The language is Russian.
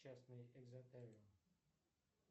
частный экзотариум